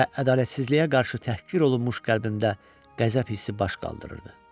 Və ədalətsizliyə qarşı təhqir olunmuş qəlbimdə qəzəb hissi baş qaldırırdı.